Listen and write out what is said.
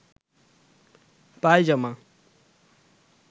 পায়জামা